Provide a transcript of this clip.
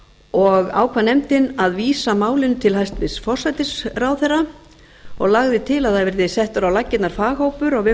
og ákvað nefndin að vísa málinu til hæstvirts forsætisráðherra og lagði til að það verði settur á laggirnar faghópur á vegum